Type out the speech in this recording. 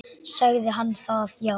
Sagði hann það já.